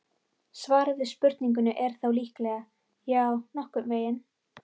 Svarið við spurningunni er þó líklega: Já, nokkurn veginn.